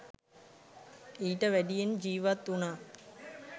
ඊට වැඩියෙන් ජිවත් උනා.